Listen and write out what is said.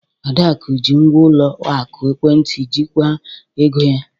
Adaku ji ngwa ụlọ akụ ekwentị jikwaa ego ya.